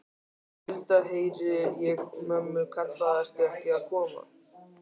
Hulda, heyri ég mömmu kalla, ertu ekki að koma?